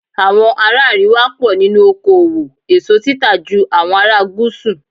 Àwọn ará àríwá pọ̀ nínú oko òwò èso títà ju àwọn ará gúúsù.